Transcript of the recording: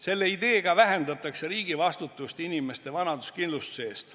Selle ideega vähendatakse riigi vastutust inimeste vanaduskindlustuse eest.